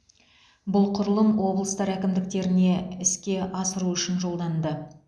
бұл құрылым облыстар әкімдіктеріне іске асыру үшін жолданды